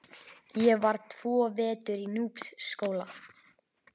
Ég var tvo vetur í Núpsskóla.